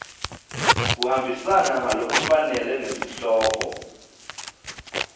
kuhambisana ngalokufanele nesihloko